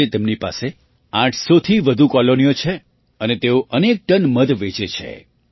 આજે તેમની પાસે ૮૦૦થી વધુ કૉલોનીઓ છે અને તેઓ અનેક ટન મધ વેચે છે